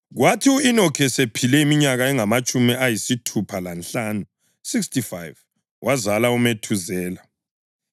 Kwathi u-Enoki esephile iminyaka engamatshumi ayisithupha lanhlanu (65), wazala uMethuzela.